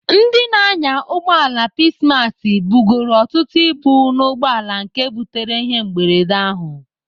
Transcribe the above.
Ndị na-anya ụgbọala Peacemass bugoro ọtụtụ ibu n'ugboala nke butere ihe mberede ahụ.